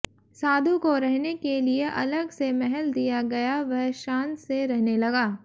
साधु को रहने के लिए अलग से महल दिया गया वह शान से रहने लगा